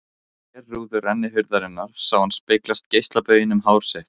Í glerrúðu rennihurðarinnar sá hann speglast geislabauginn um hár sitt.